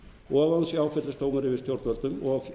og hún sé áfellisdómur yfir stjórnvöldum og